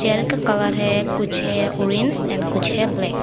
Chair का colour है कुछ है ऑरेंज और कुछ है ब्लैक ।